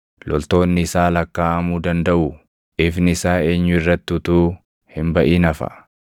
Loltoonni isaa lakkaaʼamuu dandaʼuu? Ifni isaa eenyu irratti utuu hin baʼin hafa?